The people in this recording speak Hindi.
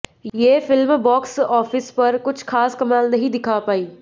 ये फिल्म बॉक्स ऑफिस पर कुछ खास कमाल नहीं दिखा पाई